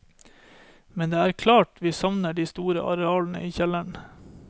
Men det er klart vi savner de store arealene i kjelleren.